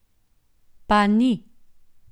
Pa ni.